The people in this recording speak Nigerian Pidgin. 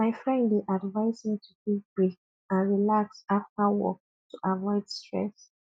my friend dey advise me to take break and relax after work to avoid stress